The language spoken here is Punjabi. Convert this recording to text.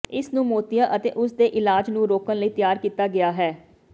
ਇਸ ਨੂੰ ਮੋਤੀਆ ਅਤੇ ਉਸਦੇ ਇਲਾਜ ਨੂੰ ਰੋਕਣ ਲਈ ਤਿਆਰ ਕੀਤਾ ਗਿਆ ਹੈ